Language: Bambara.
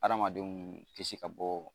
Adamadenw kisi ka bɔ